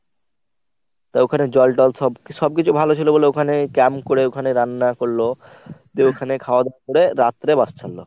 তা ওখানে জরটল সব সবকিছু ভালো ছিল বলে ওখানে camp করে ওখানে রান্না করল দিয়ে ওখানে খাওয়া দাওয়া করে রত্রে bus ছাড়লো।